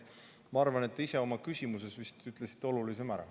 Ma arvan, et te ise oma küsimuses ütlesite olulisema ära.